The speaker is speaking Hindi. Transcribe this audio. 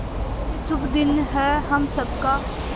ये शुभ दिन है हम सब का